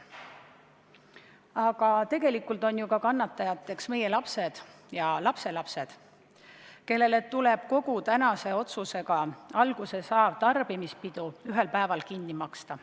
Aga tegelikult on ju kannatajateks ka meie lapsed ja lapselapsed, kellel tuleb kogu tänase otsusega alguse saav tarbimispidu ühel päeval kinni maksta.